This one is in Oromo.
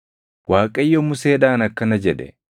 Waaqayyo Museedhaan akkana jedhe;